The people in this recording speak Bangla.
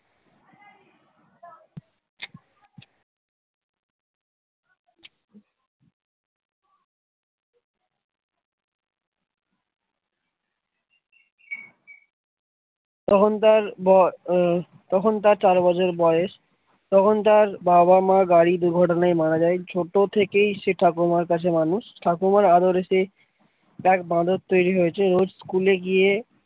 তখন তার বর তখন তার বছর বয়স তখন তার বাবা-মা গাড়ি দুর্ঘটনায় মারা যায় ছোট থেকেই সে ঠাকুমার কাছে মানুষ ঠাকুমার আদরে সে এক বাঁদর তৈরি হয়েছে রোজ school এ গিয়ে।